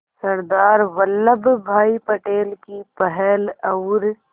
सरदार वल्लभ भाई पटेल की पहल और